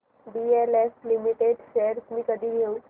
DLF limited shares मी कधी घेऊ